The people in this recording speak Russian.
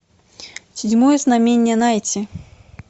седьмое знамение найти